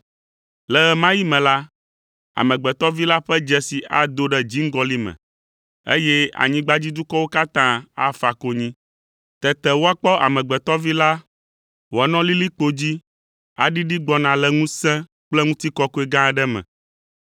“Le ɣe ma ɣi me la, Amegbetɔ Vi la ƒe dzesi ado ɖe dziŋgɔli me, eye anyigbadzidukɔwo katã afa konyi. Tete woakpɔ Amegbetɔ Vi la wòanɔ lilikpo dzi aɖiɖi gbɔna le ŋusẽ kple ŋutikɔkɔe gã aɖe me,